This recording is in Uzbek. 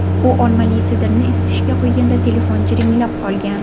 U olmali sidrni isitishga qo‘yganida telefon jiringlab qolgan.